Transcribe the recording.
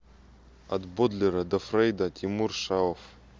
от бодлера до фрейда тимур шаов